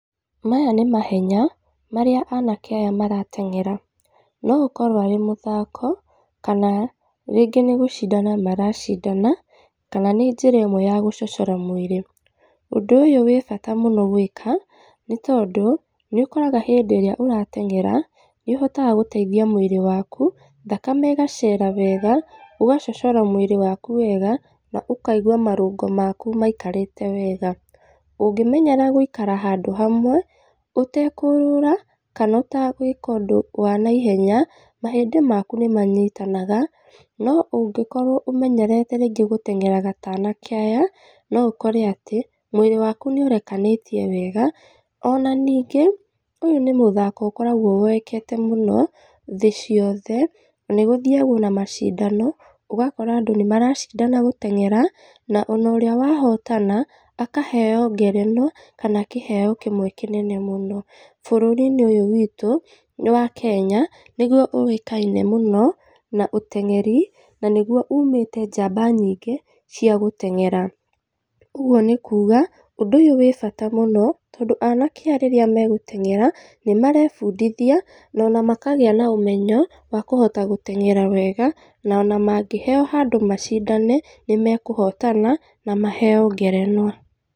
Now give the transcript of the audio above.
Maya nĩ mahenya, marĩa anake aya maratenyera. No ŭkorŭo arĩ mŭthako, kana, rĩngĩ nĩ gŭcidana maracidana kana nĩ njĩra ĩmwe ya gŭcocora mwĩrĩ, ŭndŭ ŭyŭ nagŭo wĩ bata mŭno gwĩka, nĩ tondŭ nĩŭkoraga hĩndĩ ĩrĩa mŭndŭ aratenyera nĩŭhotaga gŭteithia mwĩrĩ waku, thakame ĩgacera wega, ŭgacocora mwĩrĩ wakŭ wega na ŭkaigŭa marŭngo maku maikarĩte wega. Ŭngĩmenyera gŭikara handŭ hamwe ŭtekŭŭrŭra kana ŭtagwĩka ŭndŭ wa naihenya mahĩndĩ makŭ nĩmanyitanaga no ŭngĩkorwo ŭmenyerete rĩngĩ gŭtenyeraga ta anake aya no ŭkore atĩ mwĩrĩ wakŭ nĩŭrekanĩtie wega ona niingĩ ŭyŭ nĩ mŭthako ŭkoragwo woekete mŭno thĩ ciothe nĩgŭthiagwo ona macidano ŭgakora andŭ nĩmaracidana gŭteng'era na ona ŭrĩa wahotana akaheo ngerenwa kana kĩheo kĩmwe kĩnene mŭno. Bŭrŭriinĩ ŭyŭ wiitŭ nĩ wa Kenya nĩgŭo ŭĩkaine mŭno na ŭteng'eri na nĩgŭo ŭŭmĩte jaba nyingĩ cia gŭteng'era. Ŭgŭo nĩ kŭŭga ŭndŭ ŭyŭ wĩ bata mŭno, tondŭ anake aya rĩrĩa magŭteng'era nĩmarebŭdithia, na makagĩa na ŭmenyo wa kŭhota gŭteng'era wega, na ona mangĩheo handŭ macidane nĩmekŭhotana, na maheo ngerenwa.